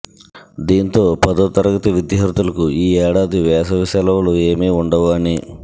దీంతో పదో తరగతి విద్యార్థులకు ఈ ఏడాది వేసవి సెలవులు ఏమి ఉండవు అని